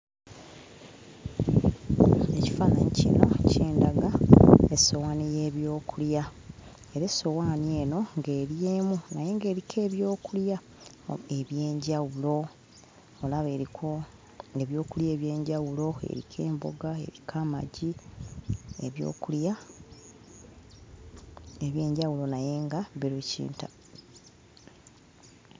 Ekifaananyi kino kindaga essowaani y'ebyokulya era essowaani eno ng'eri emu naye ng'eriko ebyokulya eby'enjawulo olaba eriko ebyokulya eby'enjawulo eriko emboga eriko amagi ebyokulya eby'enjawulo naye nga biri kintabuli.